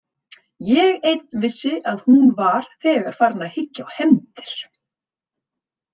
Ég einn vissi að hún var þegar farin að hyggja á hefndir.